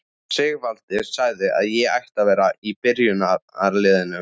Sigvaldi sagði að ég ætti að vera í byrjunarliðinu!